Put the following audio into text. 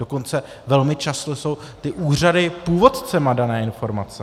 Dokonce velmi často jsou ty úřady původci dané informace.